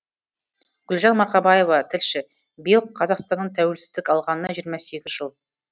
гүлжан марқабаева тілші биыл қазақстанның тәуелсіздік алғанына жиырма сегіз жыл